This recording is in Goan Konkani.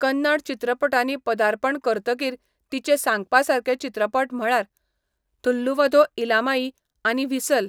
कन्नड चित्रपटांनी पदार्पण करतकीर तिचे सांगपासारके चित्रपट म्हळ्यार थुल्लुवधो इलामाई आनी व्हीसल.